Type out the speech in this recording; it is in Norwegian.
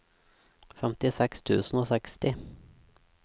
femtiseks tusen og seksti